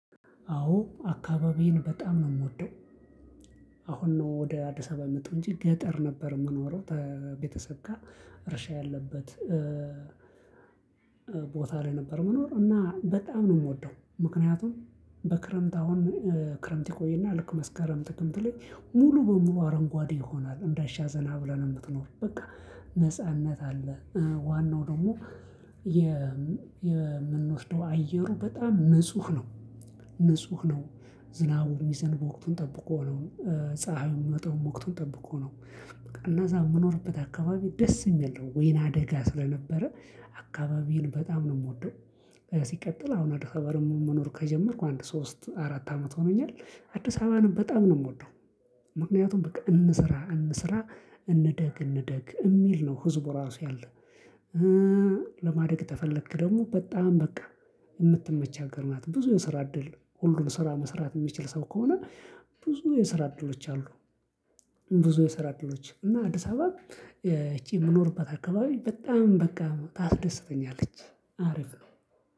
አዎ አካባቢዬን በጣም ነው የምወደው። አሁን ነው ወደ አዲስ አበባ መጥሁ እንጂ ገጠር ነበር የምኖረው ቤተሰብ ጋር እርሻ ያለበት ቦታ ላይ ነበር የምኖረው እና በጣም ነው የምወደው። ምክንያቱም በክረምት አሁን ክረምት ይቆይና ልክ መስከረም ጥቅምት ላይ ሙሉ በሙሉ አረንጓዴ ይሆናል እንዳሻህ ዘና ብለህ የምትኖር በቃ ነጻነት አለ። ዋናው ደግሞ የምንወስደው አየሩ በጣም ንጹህ ነው። ንጹህ ነው ዝናቡ ሚዘበው በወቅቱን ጠብቆ ነው ፀሀይ የሚመጣው በወቅቱን ጠብቆ ነው እነ እዛ የምኖርበት አካባቢ ደስ የሚል ነው ወይንአደጋ ስለነበረ አካባቢን በጣም ነው የምወደው። ሲቀጥል አሁን አዲስ አበባ መኖር ከጀመርኩ አንድ ሶስት አራት አመት ሆኖኛል አዲስ አበባንም በጣም ነው የምወደው። ምክንያቱም በቃ እንስራ እንስራ እንደግ እንደግ የሚል ነው ህዝቡ ራሱ ያለ ለማደግ ተፈለክ ደግሞ በጣም በቃ የምትመች አገር ማለት ነው ብዙ የስራ እድል ሁሉን ስራ መስራት የሚችል ሰው ከሆነ ብዙ የስራ እድሎች አሉ። ብዙ የስራ እድሎች እና አዲስ አበባ እቺ የምኖርበት አካባቢ በጣም በቃ ታስደስተኛለች አርፍ ነው።